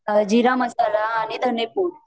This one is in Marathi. जिरा मसाला आणि धने पूड